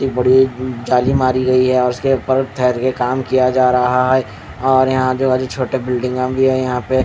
इतनी बड़ी अ जाली मरी गयी है और उसके ऊपर ठेहेरके काम किया जा रहा है और यहाँ जो छोटे बिल्डिंग भी है यहाँ पे--